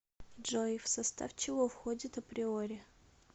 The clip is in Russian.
джой в состав чего входит априори